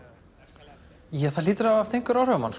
það hlýtur að hafa haft einhver áhrif á mann